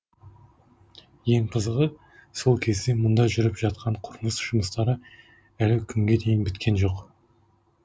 ең қызығы сол кезде мұнда жүріп жатқан құрылыс жұмыстары әлі күнге дейін біткен жоқ